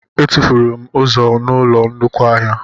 Etufuru m ụzọ n'ụlọ nnukwu ahịa